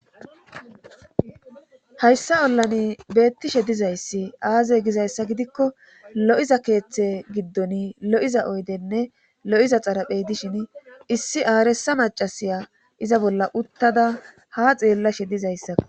Hayssa ollani beettishe dizayssi aaze gizayssa gidikko lo7iza keeththe giddon lo7iza oydenne lo7iza xaraphey dishin issi aaresa macasiya iza bolla uttada ha xeellashe dizayssakko.